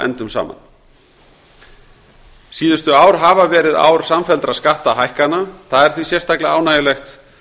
endum saman síðustu ár hafa verið ár samfelldra skattahækkana það er því sérstaklega ánægjulegt